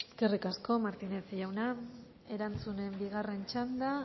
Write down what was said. eskerrik asko martínez jauna erantzunen bigarren txanda